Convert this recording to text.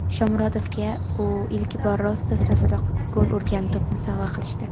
Shomurodovga u ilk bor "Rostov" safida gol urgan to‘pni sovg‘a qilishdi.